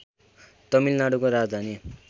तमिलनाडुको राजधानी